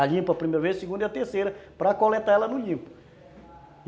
A limpa a primeira vez, a segunda e a terceira para coletá-la no limpo.